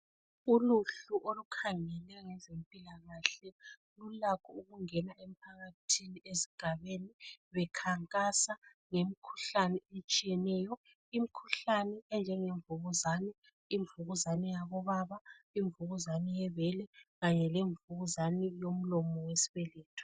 Uluhlu olukhangele ngezempilakahle lulakho ukungena emphakathini, esigabeni. Bekhankasa ngemikhuhlane etshiyeneyo. lmikhuhlane enjengemvukuzane. Imvukuzane yabobaba, imvukuzane yebele kanye lemvukuzane yomlomo wesibeletho.